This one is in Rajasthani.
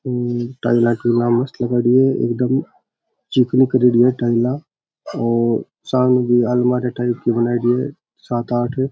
हम्म टाइला कमरा में मस्त लगायोडी है एकदम चिकनी करियोडी है टाइला और सामने भी अलमारियां टाइप की बनायोडी है सात आठ।